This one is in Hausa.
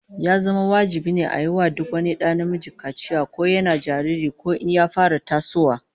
Ya zama wajibi a yi wa duk wani da namiji kaciya, ko yana jariri ko in ya fara tasowa